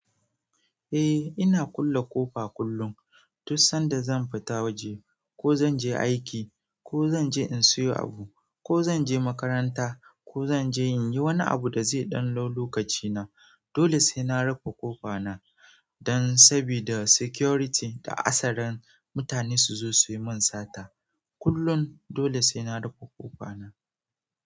Eh ina kulle ƙofa kullum, duk sanda zan fita waje ko zan je aiki ko zan je in siyo abu ko zan je makaranta ko zan je in yi wani abu da zai ɗan ɗau lokaci na. Dole sai na rufe ƙofa na dan sabida security da asarar mutane su zo su yi min sata. Kullun dole sai na rufe ƙofa na.